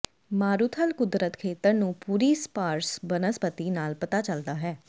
ਮਾਰੂਥਲ ਕੁਦਰਤ ਖੇਤਰ ਨੂੰ ਪੂਰੀ ਸਪਾਰਸ ਬਨਸਪਤੀ ਨਾਲ ਪਤਾ ਚੱਲਦਾ ਹੈ